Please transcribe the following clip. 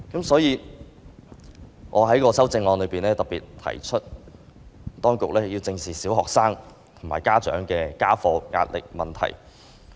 所以，我在修正案特別提出，當局要正視小學生及家長的家課壓力問題。